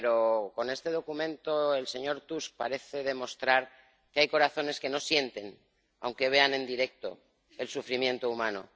Pero con este documento el señor Tusk parece demostrar que hay corazones que no sienten aunque vean en directo el sufrimiento humano.